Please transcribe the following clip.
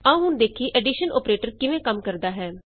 ਆਉ ਹੁਣ ਵੇਖੀਏ ਐਡੀਸ਼ਨ ਅੋਪਰੇਟਰ ਕਿਵੇਂ ਕੰਮ ਕਰਦਾ ਹੈ